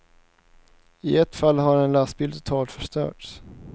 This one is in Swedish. I ett fall har en lastbil totalförstörts.